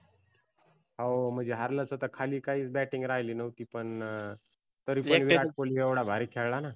हाव म्हणजी हारलच हे तर खाली काहीच batting राहिली नव्हती पण तरी पण विराट कोल्ही एवढा भारी खेळलाना.